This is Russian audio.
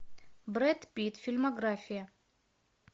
брэд питт фильмография